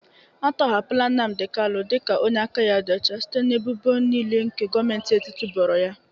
Atọhapụla Nnamdị kanụ dị ka onye aka ya dị ọcha site n'ebubo niile nke Gọmenti etiti boro ya.